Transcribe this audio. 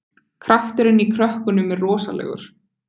Krafturinn í krökkunum er rosalegur